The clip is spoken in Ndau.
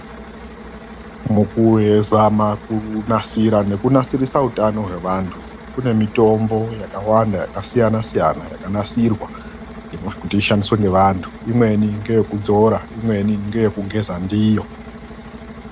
MUKUZAMA KUNASIRA NEKUNASIRIRE UTANO HWEVANTU KUNE MITOMBO YAKAWANDA YAKASIYANASIYANA YAKANASIRWA KUTI ISHANDISWE NEVANTU IMWENI NDEYEKUDZORA IMWENI NDEYEKUGEZA NDIYO